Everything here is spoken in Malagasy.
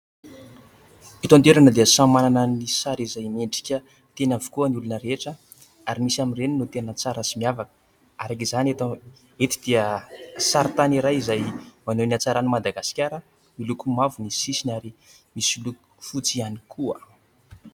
Eto an-toerana dia samy manana ny sary izay mendrika, tiany avokoa ny olona rehetra ary misy amin'ireny no tena tsara sy miavaka. Araky izany eto dia sarintany izay maneho ny hatsaran'i Madagasikara miloko mavo ny sisiny ary misy loko fotsy ihany koa.